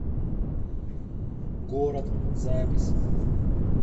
город запись